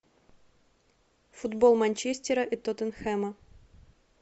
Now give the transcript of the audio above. футбол манчестера и тоттенхэма